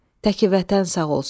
Təki vətən sağ olsun!